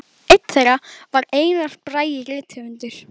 Einn þeirra var Einar Bragi rithöfundur.